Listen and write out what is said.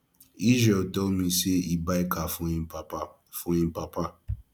israel tell me say he buy car for im papa for im papa